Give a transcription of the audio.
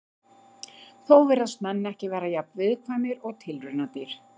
Þó virðast menn ekki vera jafn viðkvæmir og tilraunadýr.